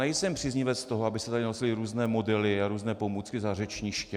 Nejsem příznivec toho, aby se tady nosily různé modely a různé pomůcky za řečniště.